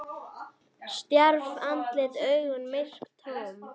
Stjarft andlit, augun myrk, tóm.